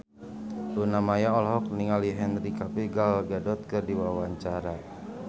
Luna Maya olohok ningali Henry Cavill Gal Gadot keur diwawancara